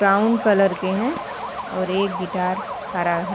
Brown colour के हैं और एक गिटार हरा है।